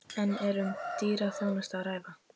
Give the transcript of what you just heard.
En er um dýra þjónustu að ræða?